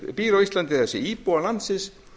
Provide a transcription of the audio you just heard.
býr á íslandi það er íbúar landsins